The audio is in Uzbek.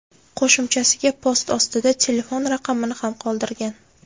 Qo‘shimchasiga, post ostida telefon raqamini ham qoldirgan.